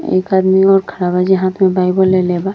एक आदमियाे खड़ा बा। जहां पे बाइबल लेले बा।